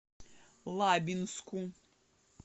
лабинску